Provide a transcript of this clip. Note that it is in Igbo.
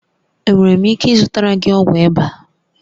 Enwere m ike ịzụtara gị ọgwụ ịba?